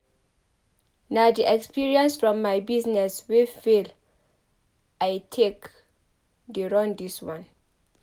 Na di experience from my business wey fail I take dey run dis one.